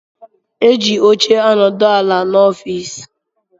Eji óche anodu ala n' ọffici.